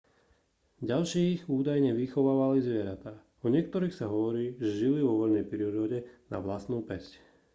ďalších údajne vychovávali zvieratá o niektorých sa hovorí že žili vo voľnej prírode na vlastnú päsť